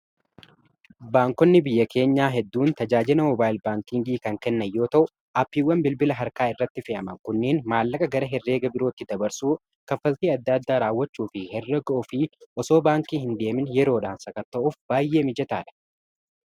Baankonni biyya keenyaa hedduun tajaajilaa mobaayil baankiingii kan kennan yoo ta'u appiiwwan bilbila harkaa irratti fee'aman kunneen maallaqa gara herreega birootti dabarsuu kaffaltii adda addaa raawwachuu fi herregaa ofii osoo baankii hin deemin yeroodhaan sakata'uuf baay'ee mijataadha.